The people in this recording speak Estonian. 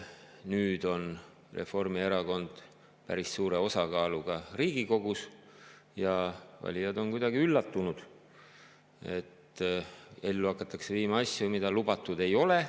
Nüüd on Reformierakond päris suure osakaaluga Riigikogus ja valijad on kuidagi üllatunud, et ellu hakatakse viima asju, mida lubatud ei olnud.